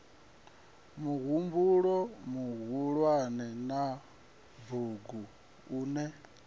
muhumbulo muhulwane wa bugu une